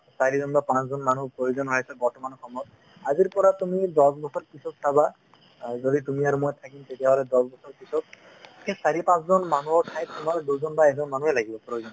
চাৰিজন বা পাঁচজন মানুহ প্ৰয়োজন হৈ আছে বৰ্তমান সময়ত আজিৰ পৰা তুমি দহ বছৰ পিছত চাবা আৰু যদি তুমি আৰু মই থাকিম তেতিয়াহ'লে দহবছৰ পিছত সেই চাৰি পাঁচ জন মানুহৰ ঠাইত তোমাৰ দুজন বা এজন মানুহে লাগিব প্ৰয়োজন